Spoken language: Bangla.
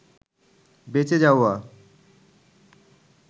বেঁচে যাওয়া